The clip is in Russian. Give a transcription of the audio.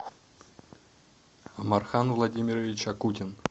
мархан владимирович акутин